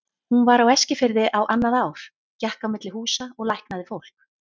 Hún var á Eskifirði á annað ár, gekk á milli húsa og læknaði fólk.